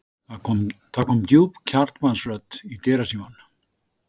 Það kom djúp karlmannsrödd í dyrasímann.